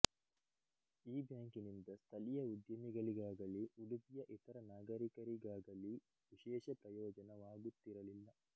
ಈ ಬ್ಯಾಂಕಿನಿಂದ ಸ್ಥಳೀಯ ಉದ್ಯಮಿಗಳಿಗಾಗಲಿ ಉಡುಪಿಯ ಇತರ ನಾಗರಿಕರಿಗಾಗಲೀ ವಿಶೇಷ ಪ್ರಯೋಜನವಾಗುತ್ತಿರಲಿಲ್ಲ